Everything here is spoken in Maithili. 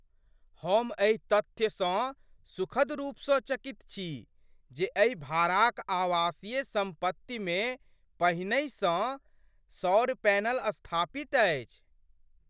हम एही तथ्यसँ सुखद रूपसँ चकित छी जे एहि भाड़ाक आवासीय सम्पतिमे पहिनेसँहि सौर पैनल स्थापित अछि।